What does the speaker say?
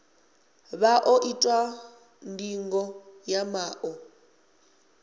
vha ḓo itwa ndingo ya maṱo